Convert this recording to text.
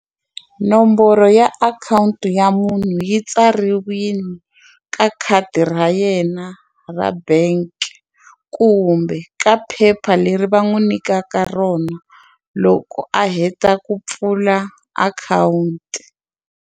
Nomboro ya akhawunti ya munhu yi tsariwile ka khadi ra yena ra bank kumbe ka phepha leri va n'wi nyikaka rona loko a heta ku pfula akhawunti.